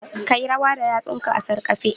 Ka yi rawa da yatsunka a sarƙafe